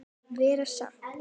Vera saman.